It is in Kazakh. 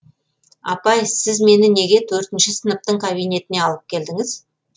апай сіз мені неге төртінші сыныптың кабинетіне алып келдіңіз